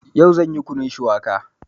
Yau zan yi Kunun shuwaka